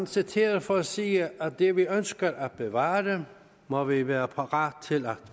citeret for at sige at det vi ønsker at bevare må vi være parate til at